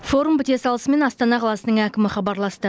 форум біте салысымен астана қаласының әкімі хабарласты